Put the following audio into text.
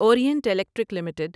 orient Electric limited